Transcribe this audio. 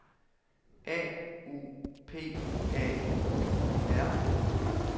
A U P A I R